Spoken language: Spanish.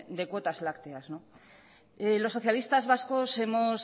de cuotas lácteas los socialistas vascos hemos